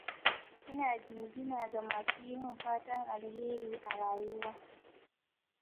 Ina jinjina ga masu yi min fatan alheri a rayuwa